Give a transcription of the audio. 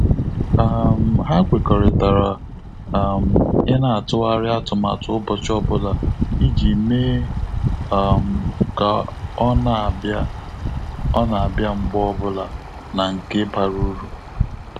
um Ha kwekọrịtara um ina atụgharị atụmatụ ụbọchị ọbụla iji mee um ka ọ na abia ọ na abia mgbe ọbụla na nke bara uru